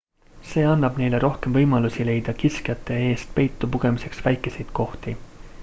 see annab neile rohkem võimalusi leida kiskjate eest peitu pugemiseks väikeseid kohti